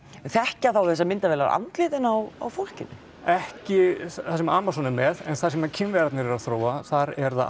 þekkja þá þessar myndavélar andlitin á á fólkinu ekki það sem Amazon er með en það sem Kínverjarnir eru að þróa þar er það